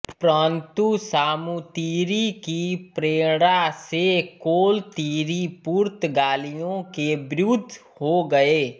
परंतु सामूतिरि की प्रेरणा से कोलत्तिरि पुर्तगालियों के विरुद्ध हो गये